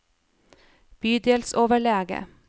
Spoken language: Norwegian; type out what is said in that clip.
bydelsoverlege